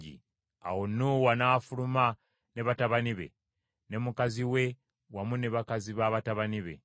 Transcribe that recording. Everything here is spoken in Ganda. Awo Nuuwa n’afuluma ne batabani be, ne mukazi we wamu ne bakazi ba batabani be.